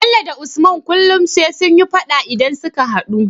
Bello da usman kullun sai sunyi faɗa idan suka hadu